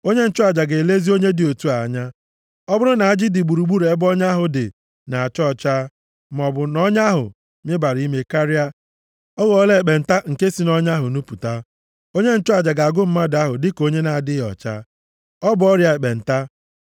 onye nchụaja ga-elezi onye dị otu a anya. Ọ bụrụ na ajị dị gburugburu ebe ọnya ahụ dị na-acha ọcha, maọbụ na ọnya ahụ mibara ime karịa, ọ ghọọla ekpenta nke si nʼọnya ahụ nupụta. Onye nchụaja ga-agụ mmadụ ahụ dịka onye na-adịghị ọcha. Ọ bụ ọrịa ekpenta.